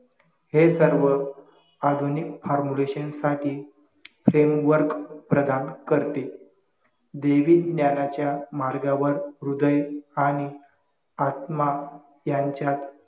हे सर्व आधुनिक FORMULATION साठी FRAMEWORK प्रदान करते दैविक ज्ञान्याच्या मार्गावर हृदय आणि आत्मा त्यांच्यात